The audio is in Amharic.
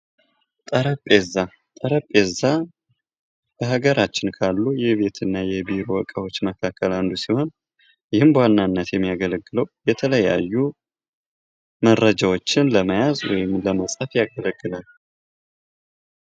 ጠረጴዛ በሀገራችን ካሉ የቤትና የቢሮ እቃዎች እቃዎች መካከል አንዱ ሲሆን ይህም በዋናነት የሚያገለግለው የተለያዩ መረጃዎችን ለመያዝ ወይም ለመስጠት ያገለግላል።